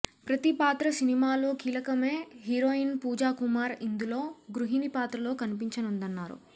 ప్రతి పాత్ర సినిమాలో కీలకమే హీరోయిన్ పూజాకుమార్ ఇందులో గృహిణి పాత్రలో కన్పించనుందన్నారు